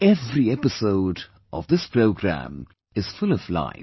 Every episode of this program is full of life